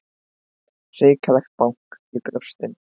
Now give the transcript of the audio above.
Hrikalegt bank í brjóstinu.